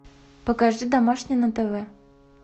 покажи домашний на тв